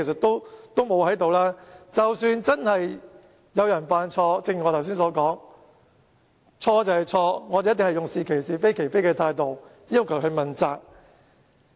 如果真的有人犯了錯，正如我剛才所說：錯就是錯，我們一定會用是其是、非其非的態度，要求問責。